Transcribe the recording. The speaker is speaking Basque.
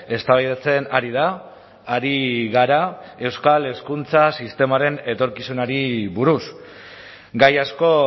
eztabaidatzen ari da ari gara euskal hezkuntza sistemaren etorkizunari buruz gai asko